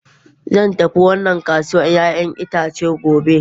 Zan tafi wannan kasuwar 'ya'yan itace gobe.